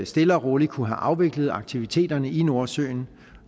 stille og roligt kunne have afviklet aktiviteterne i nordsøen